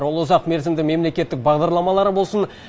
ол ұзақ мерзімді мемлекеттік бағдарламалар болсын